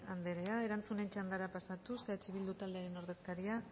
andrea erantzunen txandara pasatuz eh bildu taldearen ordezkaria